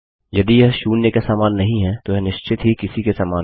यदि यह जीरो के समान नहीं है तो यह निश्चित ही किसी के समान है